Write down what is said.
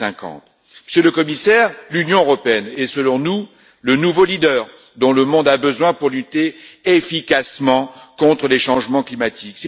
2050. Monsieur le Commissaire, l'Union européenne est, selon nous, le nouveau leader dont le monde a besoin pour lutter efficacement contre le changement climatique.